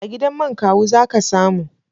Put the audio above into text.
A gidan man Kawu za ka samu.